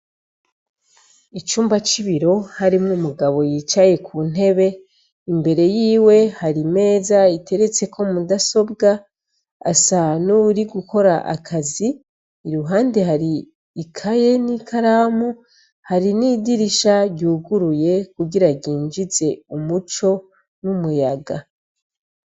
Icumba c'ibiro harimwo umugabo yicaye kuntebe, imbere yiwe hari imeza iteretseko mudasobwa asa nuri gukora akazi, iruhande hari ikaye n'ikaramu hari n'idirisha ryuguruye kugira ryinjize umuco n'umuyaga.